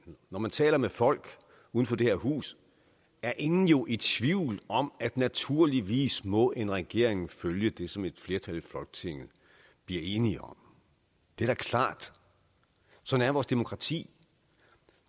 når man taler med folk uden for det her hus er ingen jo i tvivl om at naturligvis må en regering følge det som et flertal i folketinget bliver enige om det er da klart sådan er vores demokrati